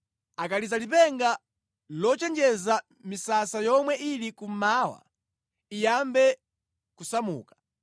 Akaliza lipenga lochenjeza, misasa yomwe ili kummawa iyambe kusamuka.